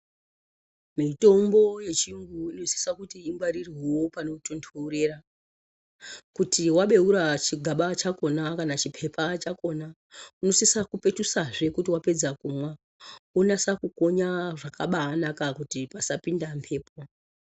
Mitombo yechiyungu inosiso kuti ingwarirwevo panotonhorera. Kuti vabeura chigaba chakona kana chipepa chakona. Unosisa kupetusaze kana vapedza kumwa vonyasa kukonya zvakabanaka kuti pasapinda mhepo.